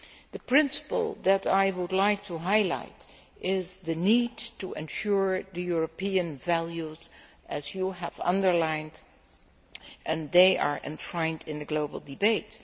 The principle that I would like to highlight is the need to ensure that European values, as you have underlined, are enshrined in the global debate.